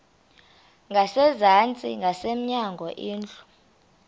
ngasezantsi ngasemnyango indlu